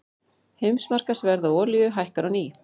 Heimsmarkaðsverð á olíu hækkar á ný